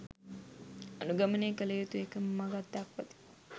අනුගමනය කළ යුතු එකම මඟක් දක්වති.